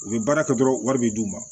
U bɛ baara kɛ dɔrɔn wari bɛ d'u ma